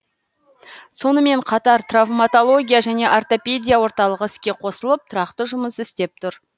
сонымен қатар травматология және ортопедия орталығы іске қосылып тұрақты жұмыс істеп тұр